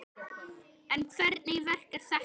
En hvernig verk er þetta?